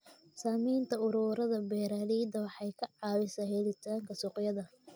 Sameynta ururada beeralayda waxay ka caawisaa helitaanka suuqyada.